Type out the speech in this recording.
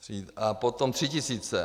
A potom 3 tisíce.